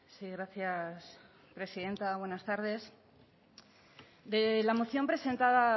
sí gracias presidenta buenas tardes de la moción presentada